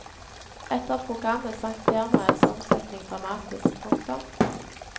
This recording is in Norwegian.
Etter programmet sank firmaets omsetning dramatisk. punktum